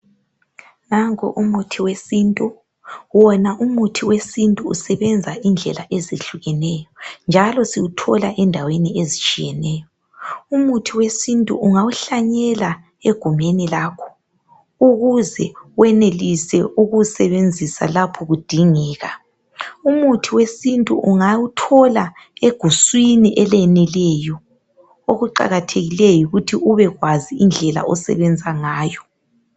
Nanko umuthi wesintu, wona umuthi we sintu usebenza indlela ezihlukeney njalo siwuthola endaweni ezitshiyeneyo, umuthi we sintu ungawuhlanyela egumeni lakho ukuze wenelise ukuwusebenzisa lapho kudingeka, umuthi we sintu ungawuthola eguswini eleneleyo okuqakathekileyo yikuthi ubekwazi indlela osebenza ngayo.